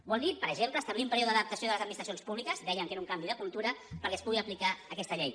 vol dir per exemple establir un període d’adaptació de les administracions públiques dèiem que era un canvi de cultura perquè es pugui aplicar aquesta llei